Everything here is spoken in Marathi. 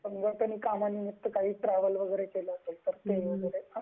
म्हणजे समजा त्यांनी कामानिमित्त काही ट्रॅव्हल वगैरे केलं असेल तर ते वैगेरे असं